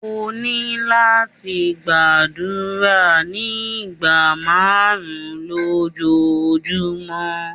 O ni lati gbadura ni igba marun lojumọ